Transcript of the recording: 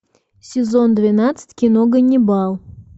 сезон двенадцать кино ганнибал